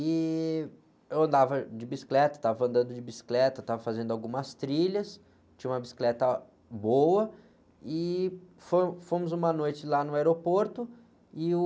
E eu andava de bicicleta, estava andando de bicicleta, estava fazendo algumas trilhas, tinha uma bicicleta boa e foi, fomos uma noite lá no aeroporto e o...